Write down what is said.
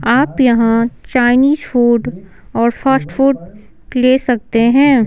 आप यहां Chinese food और फास्ट फूड ले सकते हैं।